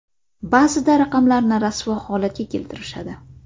Ba’zida raqamlarni rasvo holatga keltirishadi.